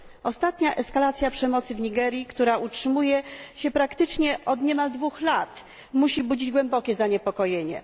Ostatnia eskalacja przemocy w Nigerii, która utrzymuje się praktycznie od niemal dwóch lat, musi budzić głębokie zaniepokojenie.